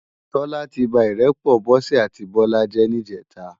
Tola ti bá irèpò Bose áti Bola jè nijètá